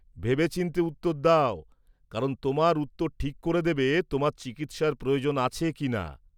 ভেবেচিন্তে উত্তর দাও, কারণ তোমার উত্তর ঠিক করে দেবে তোমার চিকিৎসার প্রয়োজন আছে কিনা।